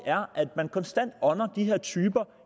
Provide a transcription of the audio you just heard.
er at man konstant ånder de her typer